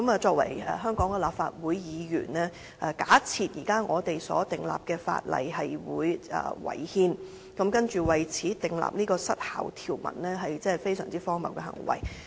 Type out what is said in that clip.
作為香港立法會議員，假設現時訂立的法例違憲，然後為此訂立失效條文，真是非常荒謬的行為。